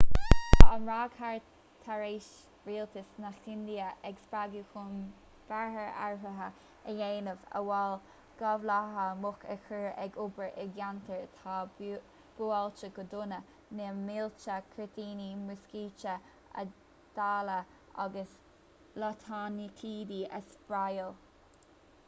tá an ráig tar éis rialtas na hindia a spreagadh chun bearta áirithe a dhéanamh amhail gabhálaithe muc a chur ag obair i gceantair atá buailte go dona na mílte cuirtíní muiscíte a dháileadh agus lotnaidicídí a spraeáil